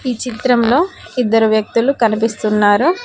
ఈ చిత్రంలో ఇద్దరు వ్యక్తులు కనిపిస్తున్నారు.